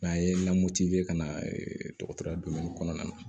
N'an ye ka na dɔgɔtɔrɔya kɔnɔna na